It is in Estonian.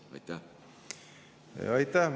Aitäh!